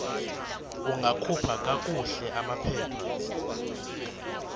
ungakhupha kakuhle amaphepha